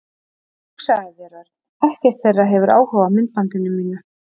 Og hugsaðu þér, Örn. Ekkert þeirra hefur áhuga á myndbandinu mínu.